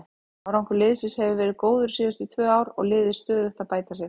Árangur liðsins hefur verið góður síðustu tvö ár og liðið stöðugt að bæta sig.